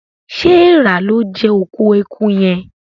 ṣe Èèrà lọ jé òkú ẹkú yén?